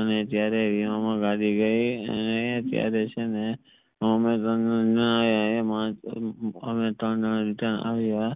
અને ત્યરેહ ગાડી ગઈ અને ત્યરેહ છે ને અમે ત્રણ જણા રિટર્ન આવ્યા